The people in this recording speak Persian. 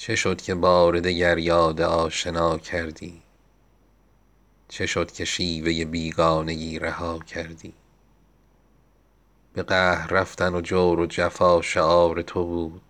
چه شد که بار دگر یاد آشنا کردی چه شد که شیوه بیگانگی رها کردی به قهر رفتن و جور و جفا شعار تو بود